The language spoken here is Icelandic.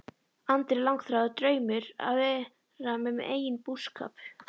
Andri: Langþráður draumur að vera með eigin búskap?